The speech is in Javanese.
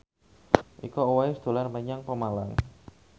Iko Uwais dolan menyang Pemalang